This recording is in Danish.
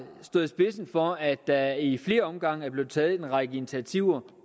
stået i spidsen for at der i flere omgange er blevet taget en række initiativer